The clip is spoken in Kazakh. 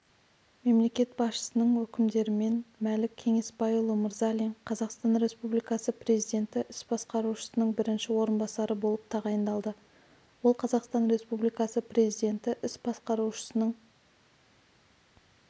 мемлекет басшысының өкімдеріменмәлік кеңесбайұлы мырзалин қазақстан республикасы президенті іс басқарушысының бірінші орынбасары болып тағайындалды ол қазақстан республикасы президенті іс басқарушысының